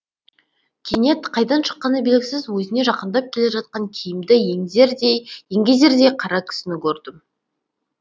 кенет қайдан шыққаны белгісіз өзіне жақындап келе жатқан киімді еңгезердей қара кісіні көрді